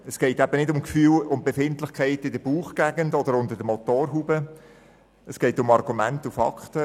Es geht eben nicht um Gefühle und Befindlichkeiten in der Bauchgegend oder unter der Motorhaube, sondern um Argumente und Fakten.